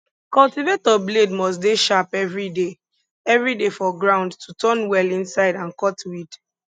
cultivator blade must dey sharp everyday everyday for ground to turn well inside and cut weed